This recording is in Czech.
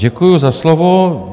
Děkuju za slovo.